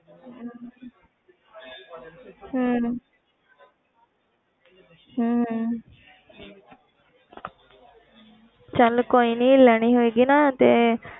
ਹਮ ਹਮ ਚੱਲ ਕੋਈ ਨੀ ਲੈਣੀ ਹੋਏਗੀ ਨਾ ਤੇ,